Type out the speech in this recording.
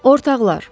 Ortaqlar.